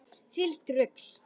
Hvílíkt rugl!